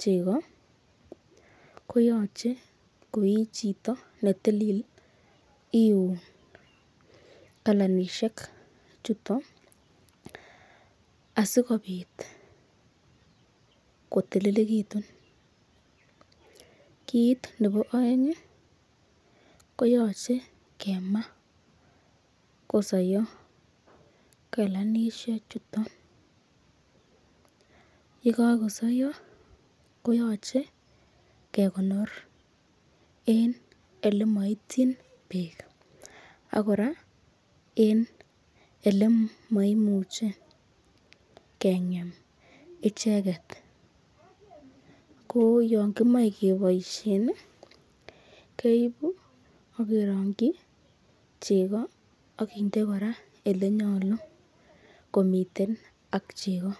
chego ko yoche koi ii chito iun kalanishek chuto asikobit kotililegitiun . KIt nebo oeng koyoche kemaa asikosoiyo kalanishechuto. Ye kagosoiyo koyoche kegonor en ele moityin beek ak kora en ele moimuch ekeng'em icheget. Ko yon kimoe keboishen keibu ak kerongi chego ak kind ekora ole nyolu komiten ak chego.